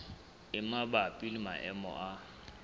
e mabapi le maemo a